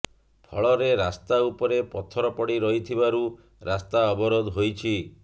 ଫଳରେ ରାସ୍ତା ଉପରେ ପଥର ପଡ଼ି ରହିଥିବାରୁ ରାସ୍ତା ଅବରୋଧ ହୋଇଛି